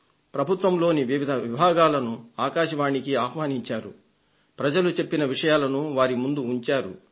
ప్రభుత్వంలోని వివిధ విభాగాలను ఆకాశవాణికి ఆహ్వానించారు ప్రజలు చెప్పిన విషయాలను వారి ముందు ఉంచారు